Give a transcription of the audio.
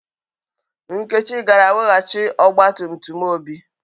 Nkechi gara weghachi ọgba tum tum Obi.